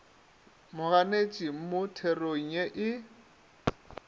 moganetši mo therong ye e